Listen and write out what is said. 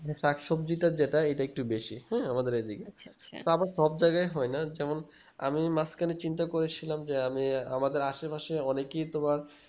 মানে শাক সবজিতে এটা একটু বেশি হ্যাঁ আমাদের এদিকে তা আবার সব জায়গায় হয় না যেমন আমি মাঝখানে চিন্তা করেছিলাম যে আমি আমাদের আশেপাশে অনেকেই তোমার